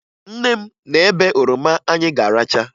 Nne m na-ebe oroma anyị ga-aracha